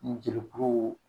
N jeli kuru